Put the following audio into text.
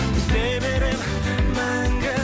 іздей беремін мәңгі